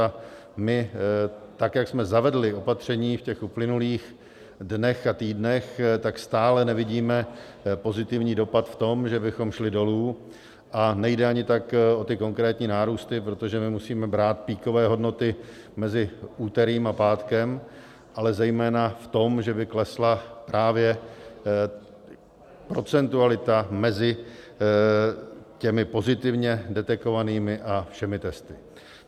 A my, tak jak jsme zavedli opatření v těch uplynulých dnech a týdnech, tak stále nevidíme pozitivní dopad v tom, že bychom šli dolů, a nejde ani tak o ty konkrétní nárůsty, protože my musíme brát peakové hodnoty mezi úterým a pátkem, ale zejména v tom, že by klesla právě procentualita mezi těmi pozitivně detekovanými a všemi testy.